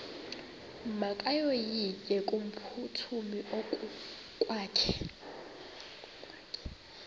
makevovike kumphuthumi okokwakhe